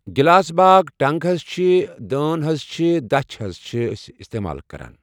glass باغ ٹنٛگ حض چھِ ، دٲن حض چھِ، دَچھ حض چھِ أسۍ استعمال کَران